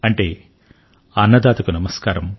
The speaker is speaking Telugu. దీనికి అర్థం అన్నదాతకు నమస్కారం